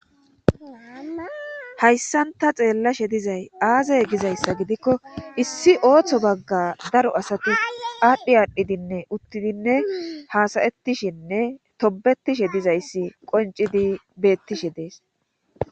hayssanta xeellashe dizay aazay gizayssa gidikko issi ooththo bagga daro asati aadhdhi aadhdhidinne uttidinne haasayettishinne tobetishe dizayssi qoncidi beettishe dees